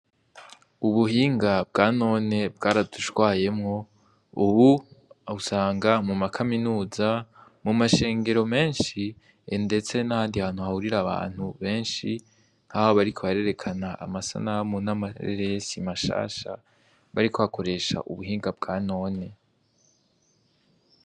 Ubuhinga bwanone bwaradushwayemwo, ubu usanga mu makaminuza, mu mashengero menshi, ndetse n'ahandi hantu hahurira abantu benshi nk'aho bariko barerekana amasanamu n'amareresi mashasha, bariko bakoresha ubuhinga bwanone.